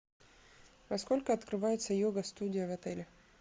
во сколько открывается йога студия в отеле